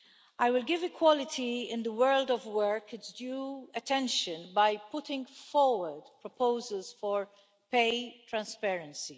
I will give equality in the world of work its due attention by putting forward proposals for pay transparency.